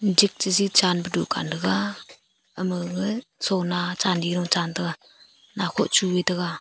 jik chiji chan pe dukan thaga ama gaga sona chandi am chan taga nakhoh chuley taga.